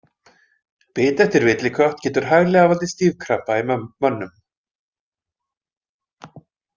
Bit eftir villikött getur hæglega valdið stífkrampa í mönnum.